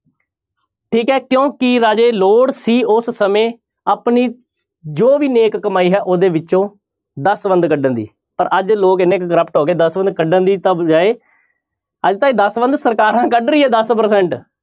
ਠੀਕ ਹੈ ਕਿਉੁਂ ਕੀ ਰਾਜੇ ਲੋੜ ਸੀ ਉਸ ਸਮੇਂ ਆਪਣੀ ਜੋ ਵੀ ਨੇਕ ਕਮਾਈ ਹੈ ਉਹਦੇ ਵਿੱਚੋਂ ਦਸਵੰਧ ਕੱਢਣ ਦੀ ਪਰ ਅੱਜ ਲੋਕ ਇੰਨੇ ਕੁ corrupt ਹੋ ਗਏ ਦਸਵੰਧ ਕੱਢਣ ਦੀ ਤਾਂ ਬਜਾਏ ਅੱਜ ਤਾਂ ਇਹ ਦਸਵੰਧ ਸਰਕਾਰਾਂ ਕੱਢ ਰਹੀਆਂ ਦਸ percent